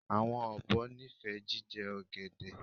Awọn obo nifẹ jijẹ ogede